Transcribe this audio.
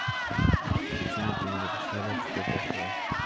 почему ты не написала что пошла